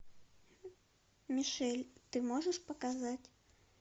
мишель ты можешь показать